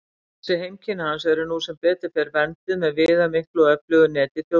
Þessi heimkynni hans eru nú sem betur fer vernduð með viðamiklu og öflugu neti þjóðgarða.